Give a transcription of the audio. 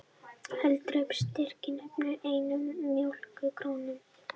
Heildarupphæð styrkjanna nemur einni milljón króna